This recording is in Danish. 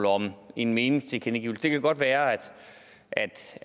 om en meningstilkendegivelse det kan godt være at